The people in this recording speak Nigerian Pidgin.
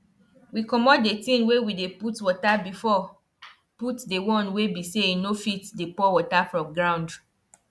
soil wey dey gum gum too much dey make am easy for water to um pass na why crop fit grow for am.